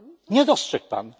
Nie dostrzegł Pan.